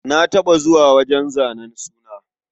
Na taɓa zuwa wajen zanen suna.